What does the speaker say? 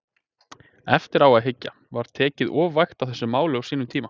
Eftir á að hyggja, var tekið of vægt á þessu máli á sínum tíma?